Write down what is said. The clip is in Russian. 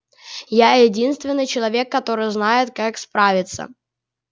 я единственный человек который знает как справиться